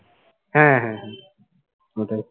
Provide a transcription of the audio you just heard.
হ্যাঁ হ্যাঁ হ্যাঁ ওটাই